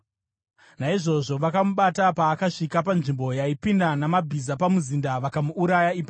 Naizvozvo vakamubata paakasvika panzvimbo yaipinda namabhiza pamuzinda, vakamuurayira ipapo.